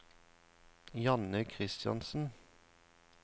Janne Christiansen